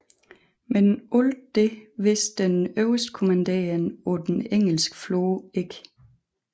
Men alt dette vidste den øverstkommanderende på den engelske flåde ikke